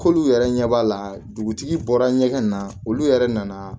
K'olu yɛrɛ ɲɛ b'a la dugutigi bɔra ɲɛgɛn na olu yɛrɛ nana